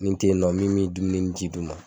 Ni n tɛ yen nɔ min bɛ dumuni ni ji d'u ma